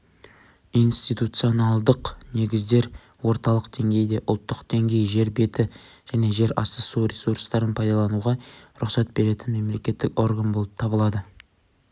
институционалдық негіздер орталық деңгейде ұлттық деңгей жер беті және жерасты су ресурстарын пайдалануға рұқсат беретін мемлекеттік орган болып табылады